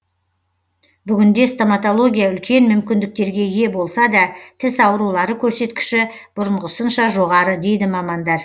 бүгінде стоматология үлкен мүмкіндіктерге ие болса да тіс аурулары көрсеткіші бұрынғысынша жоғары дейді мамандар